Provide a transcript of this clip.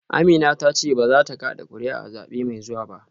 Amina ta ce ba za ta kada kuri’a a zabe mai zuwa ba